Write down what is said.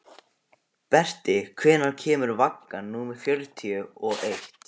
Berti, hvenær kemur vagn númer fjörutíu og eitt?